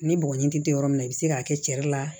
Ni bɔgɔɲinin tɛ yɔrɔ min na i bɛ se k'a kɛ cɛ de la